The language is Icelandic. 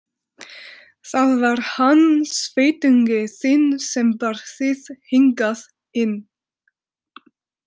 Það var hann sveitungi þinn sem bar þig hingað inn.